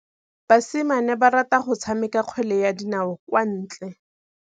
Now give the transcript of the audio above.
Basimane ba rata go tshameka kgwele ya dinaô kwa ntle.